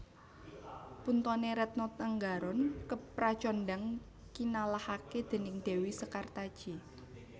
Puntone Retno Tenggaron kepracondhang kinalahake déning dewi Sekartaji